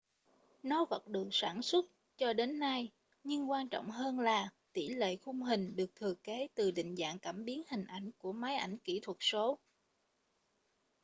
nó vẫn được sản xuất cho đến nay nhưng quan trọng hơn là tỉ lệ khung hình được thừa kế từ định dạng cảm biến hình ảnh của máy ảnh kĩ thuật số